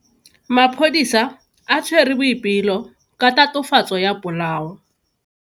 Maphodisa a tshwere Boipelo ka tatofatso ya polao.